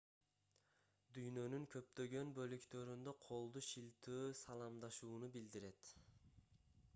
дүйнөнүн көптөгөн бөлүктөрүндө колду шилтөө саламдашууну билдирет